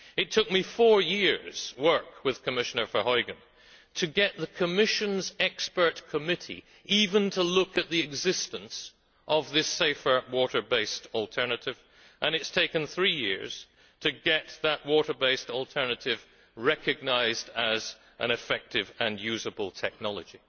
It took me four years' work with Commissioner Verheugen to get the Commission's expert committee even to look at the existence of this safer water based alternative, and it has taken three years to get that water based alternative recognised as an effective and useable technology.